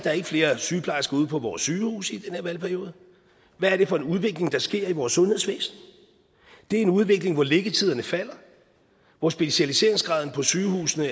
flere sygeplejersker ude på vores sygehuse i den her valgperiode hvad er det for en udvikling der sker i vores sundhedsvæsen det er en udvikling hvor liggetiderne falder hvor specialiseringsgraden på sygehusene